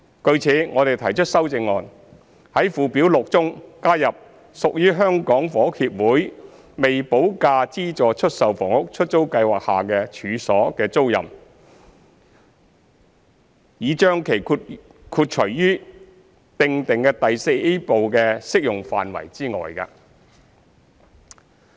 據此，我們提出修正案，在附表6中加入屬在香港房屋協會的出租計劃下的處所的租賃，以將其豁除於擬訂第 IVA 部的適用範圍之外。